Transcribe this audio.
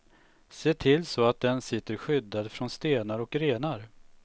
Se till så att den sitter skyddad från stenar och grenar.